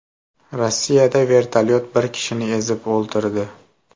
Rossiyada vertolyot bir kishini ezib o‘ldirdi.